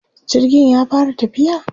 jirgin ya fara tafiya?